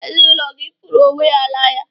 Ezinaụlọ gị fụrụ onwe ha n'anya